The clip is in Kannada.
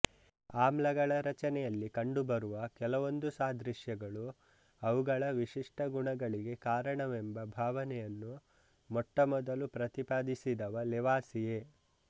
ಆಮ್ಲಗಳ ರಚನೆಯಲ್ಲಿ ಕಂಡುಬರುವ ಕೆಲವೊಂದು ಸಾದೃಶ್ಯಗಳು ಅವುಗಳ ವಿಶಿಷ್ಟಗುಣಗಳಿಗೆ ಕಾರಣವೆಂಬ ಭಾವನೆಯನ್ನು ಮೊಟ್ಟಮೊದಲು ಪ್ರತಿಪಾದಿಸಿದವ ಲೆವಾಸಿಯೆ